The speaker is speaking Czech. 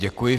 Děkuji.